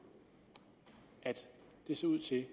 at det så ud til at